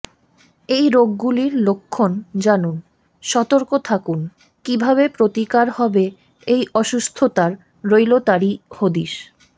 এই রোগগুলির লক্ষ্মণ জানুন সতর্ক থাকুন কীভাবে প্রতিকার হবে এই অসুস্থতার রইল তারই হদিশ